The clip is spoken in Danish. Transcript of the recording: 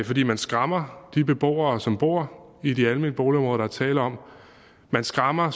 fordi man skræmmer de beboere som bor i de almene boligområder der er tale om man skræmmer